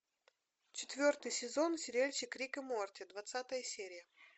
четвертый сезон сериальчик рик и морти двадцатая серия